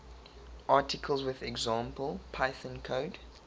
articles with example python code